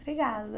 Obrigada.